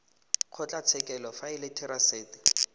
kgotlatshekelo fa e le therasete